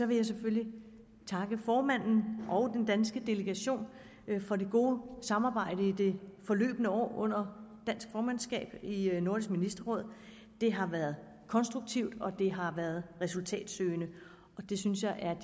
vil jeg selvfølgelig her takke formanden og den danske delegation for det gode samarbejde i det forløbne år under dansk formandskab i nordisk ministerråd det har været konstruktivt og det har været resultatsøgende og det synes jeg er